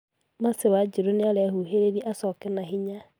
Mercy wanjiru niarehuhereria acoke na hinya